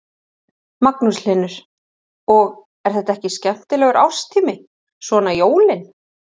Magnús Hlynur: Og, er þetta ekki skemmtilegur árstími, svona jólin?